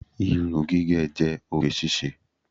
Irun gígẹ̀ jẹ́ oge ṣíṣe.